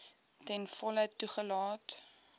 ten volle toegelaat